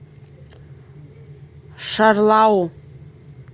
шарлау